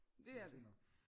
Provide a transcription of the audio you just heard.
Det er det